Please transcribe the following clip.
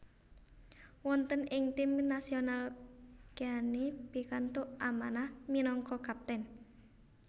Wonten ing tim nasional Keane pikantuk amanah minangka kapten